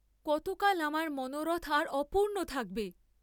কতকাল আমার মনোরথ আর অপূর্ণ থাকবে?